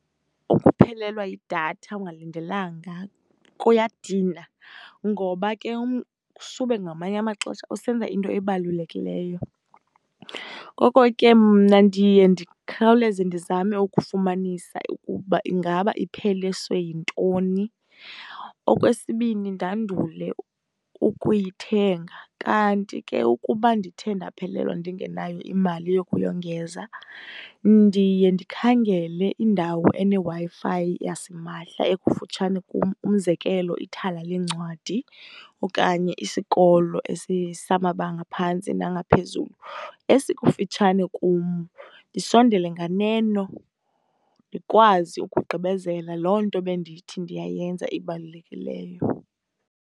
Ukuphelelwa yidatha ungalindelanga kuyadina ngoba ke sube ngamanye amaxesha usenza into ebalulekileyo. Ngoko ke mna ndiye ndikhawuleze ndizame ukufumanisa ukuba ingaba ipheliswe yintoni, okwesibini ndandule ukuyithenga. Kanti ke ukuba ndithe ndaphelelwa ndingenayo imali yokuyongeza, ndiye ndikhangele indawo eneWi-Fi yasimahla ekufutshane kum, umzekelo ithala leencwadi okanye isikolo samabanga aphantsi nangaphezulu esikufitshane kum. Ndisondele nganeno, ndikwazi ukugqibezela loo nto bendithi ndiyayenza ebalulekileyo.